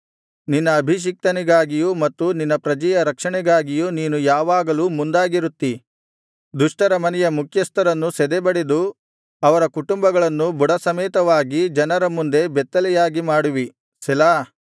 ನಿನ್ನ ಅಭಿಷಿಕ್ತನಿಗಾಗಿಯೂ ಮತ್ತು ನಿನ್ನ ಪ್ರಜೆಯ ರಕ್ಷಣೆಗಾಗಿಯೂ ನೀನು ಯಾವಾಗಲೂ ಮುಂದಾಗಿರುತ್ತಿ ದುಷ್ಟರ ಮನೆಯ ಮುಖ್ಯಸ್ಥರನ್ನು ಸದೆಬಡೆದು ಅವರ ಕುಟುಂಬಗಳನ್ನು ಬುಡಸಮೇತವಾಗಿ ಜನರ ಮುಂದೆ ಬೆತ್ತಲೆಯಾಗಿ ಮಾಡುವಿ ಸೆಲಾ